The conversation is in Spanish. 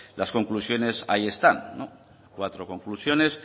las conclusiones ahí están cuatro conclusiones